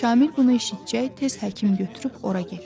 Kamil bunu eşitcək, tez həkim götürüb ora getdi.